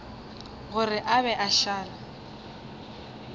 gore a be a šale